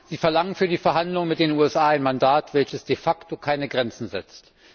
Sie verlangen für die Verhandlungen mit den USA ein Mandat, welches de facto keine Grenzen setzt.